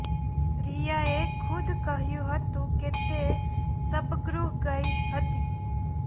રિયાએ ખુદ કહ્યું હતું કે તે શબગૃહ ગઈ હતી